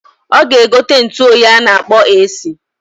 Oga egote ntuoyi a na-akpọ AC.